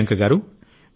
ప్రియాంక గారూ